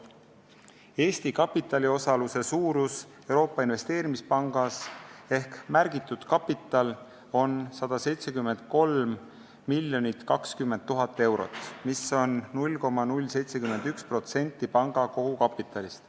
Eesti kapitali osaluse suurus Euroopa Investeerimispangas ehk märgitud kapital on 173 020 000 eurot, mis on 0,071% panga kogukapitalist.